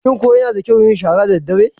Shin ko yana da kyau yin shara daddare?